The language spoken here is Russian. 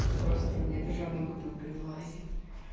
ну просто мне даже одна бутылка не влазит